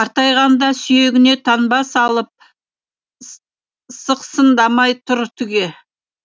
қартайғанда сүйегіне таңба салып сықсыңдамай тұр түге